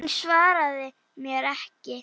Hún svaraði mér ekki.